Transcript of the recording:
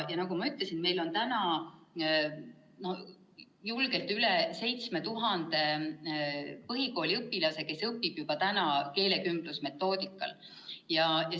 Ja nagu ma ütlesin, meil on julgelt üle 7000 põhikooliõpilase, kes õpivad juba praegu keelekümblusmetoodika järgi.